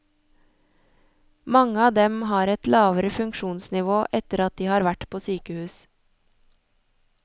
Mange av dem har et lavere funksjonsnivå etter at de har vært på sykehus.